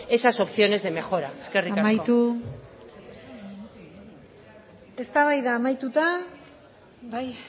esas opciones de mejora eskerrik asko amaitu eztabaida amaituta bai